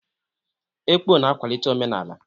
Ekpọ na-akwalite omenala.